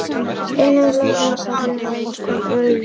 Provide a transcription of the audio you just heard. Einn aflangur pollur við hvorn úlnlið.